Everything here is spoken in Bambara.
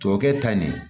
Tuwawukɛ ta nin ye